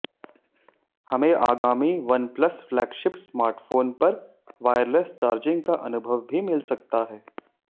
हमें आगामी OnePlus flagship smartphone पर वायरलेस चार्जिंग का अनुभव भी मिल सकता है